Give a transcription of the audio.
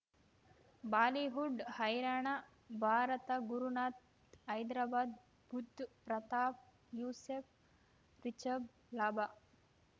Bollywood ಹೈರಾಣ ಭಾರತ ಗುರುನಾಥ್ ಹೈದರಾಬಾದ್ ಬುಧ್ ಪ್ರತಾಪ್ ಯೂಸುಫ್ ರಿಷಬ್ ಲಾಭ